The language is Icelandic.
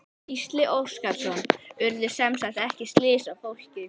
Gísli Óskarsson: Urðu semsagt ekki slys á fólki?